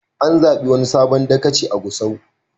An zaɓi wani sabon dagaci a Gusau.